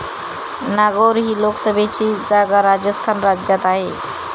नागौर ही लोकसभेची जागा राजस्थान राज्यात आहे.